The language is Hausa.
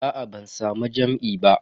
Aa ban samu jam'i ba.